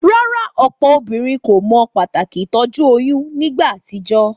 Rárá, òpò obínrin kò mo pàtàkì ìtójú oyún nígba àtijó?